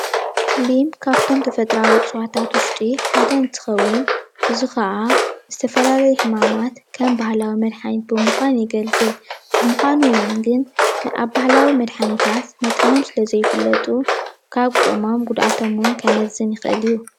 ሊም ካብቶም ተፈጥራዊ እፅዋታት ዉሽጢ ሓደ እንትኸዉን እዚ ኽዓ ዝተፈላለዩ ሕማማት ከም ባህላዊ መድሓኒታት ብምዃን የገልግል፡፡ ብምዃኑ ግን ኣብ ባህላዊ መድሓኒታት መጠኖም ስለዘይፍለጡ ካብ ጥቕሞም ጉድኣቶም እዉን ክመዝን ይኽእል እዩ፡፡